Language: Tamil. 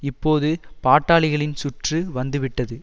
இப்போது பாட்டாளிகளின் சுற்று வந்து விட்டது